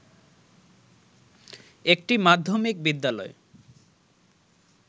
একটি মাধ্যমিক বিদ্যালয়